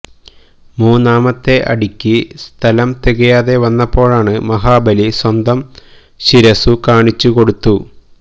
മൂന്നാമത്തെ അടിക്ക് സ്ഥലം തികയാതെ വന്നപ്പോള് മഹാബലി സ്വന്തം ശിരസ്സു കാണിച്ചു കൊടുത്തു